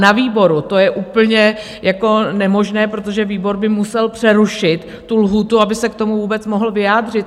Na výboru to je úplně nemožné, protože výbor by musel přerušit tu lhůtu, aby se k tomu vůbec mohl vyjádřit.